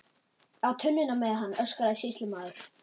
Á tunnuna með hann, öskraði sýslumaður.